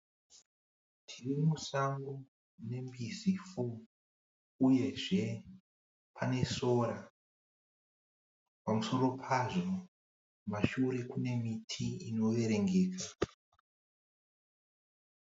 Mhuka dzemusango dzinosanganisira twiza uye mbizi uyezve pane sora. Pamusoro pazvo kumashure kune miti inoverengeka.